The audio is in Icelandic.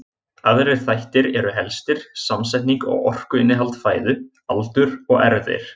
Aðrir þættir eru helstir samsetning og orkuinnihald fæðu, aldur og erfðir.